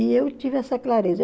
E eu tive essa clareza.